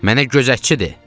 Mənə gözətçidir.